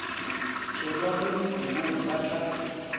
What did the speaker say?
tšhelwa mo dikobong ba tla